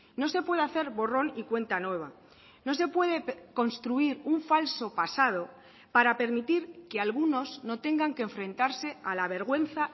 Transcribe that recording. no se puede hacer borrón y cuenta nueva no se puede construir un falso pasado para permitir que algunos no tengan que enfrentarse a la vergüenza